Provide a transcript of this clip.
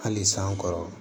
Hali san kɔrɔ